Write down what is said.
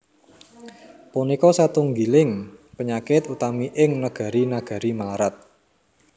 Punika satunggiling panyakit utami ing negari negari mlarat